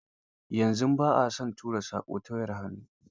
Yanzu ba a son tura saƙo ta wayar hannu.